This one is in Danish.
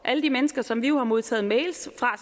alle de mennesker som vi jo har modtaget mails fra